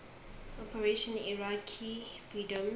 operation iraqi freedom